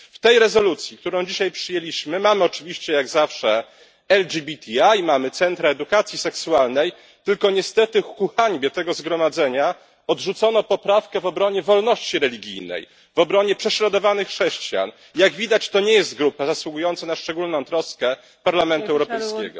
W tej rezolucji, którą dzisiaj przyjęliśmy mamy oczywiście jak zawsze LGBTI, mamy centra edukacji seksualnej, tylko niestety ku hańbie tego Zgromadzenia odrzucono poprawkę w obronie wolności religijnej, w obronie prześladowanych chrześcijan, jak widać to nie jest grupa zasługująca na szczególną troskę Parlamentu Europejskiego.